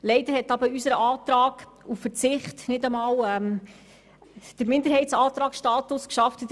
Leider hat unser Antrag auf Verzicht auf diese Massnahme nicht einmal die Stimmenzahl erreicht, um als Minderheitsantrag der FiKo zu gelten.